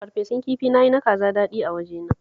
Farfesun kifi na yi na kaza daɗi a wajena